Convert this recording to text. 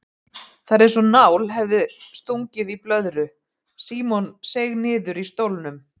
Það var einsog nál hefði verið stungið í blöðru, Símon seig niður í stólnum.